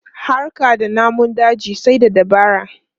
Harka da namun daji sai da dabara.